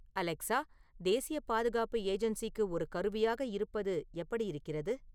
Alexa தேசிய பாதுகாப்பு ஏஜென்சிக்கு ஒரு கருவியாக இருப்பது எப்படி இருக்கிறது